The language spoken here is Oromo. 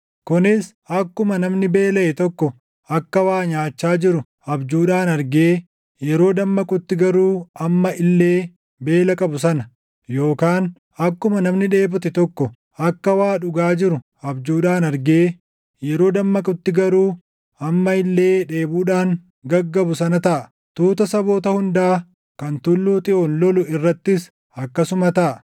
kunis akkuma namni beelaʼe tokko akka waa nyaachaa jiru abjuudhaan argee yeroo dammaqutti garuu amma illee beela qabu sana, yookaan akkuma namni dheebote tokko akka waa dhugaa jiru abjuudhaan argee yeroo dammaqutti garuu amma illee dheebuudhaan gaggabu sana taʼa. Tuuta saboota hundaa kan Tulluu Xiyoon lolu irrattis akkasuma taʼa.